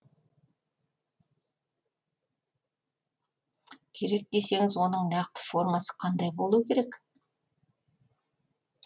керек десеңіз оның нақты формасы қандай болу керек